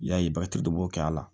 Y'a ye bakarijan dɔ b b'o kɛ a la